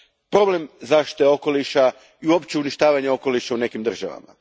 problem zaštite okoliša i uopće uništavanje okoliša u nekim državama.